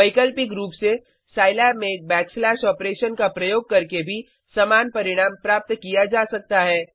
वैकल्पिक रूप से साईलैब में एक बैकस्लैश ऑपरेशन का प्रयोग करके भी समान परिणाम प्राप्त किया जा सकता है